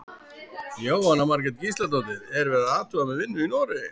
Jóhanna Margrét Gísladóttir: Er verið að athuga með vinnu í Noregi?